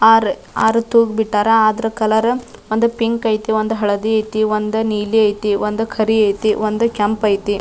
R ಆರ್ ತೂಗ್ ಬಿಟ್ಟರ ಅದ್ರ ಕಲರ್ ಒಂದ್ ಪಿಂಕ್ ಐತಿ ಒಂದ್ ಹಳದಿ ಐತಿ ಒಂದ್ ನೀಲಿ ಐತಿ ಒಂದ್ ಕರಿ ಐತಿ ಒಂದ್ ಕೆಂಪ್ ಐತಿ.